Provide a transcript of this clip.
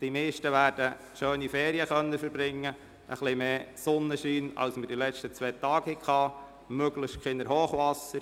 Die meisten werden schöne Ferien verbringen können, hoffentlich mit etwas mehr Sonnenschein als während der letzten beiden Tage und möglichst ohne Hochwasser.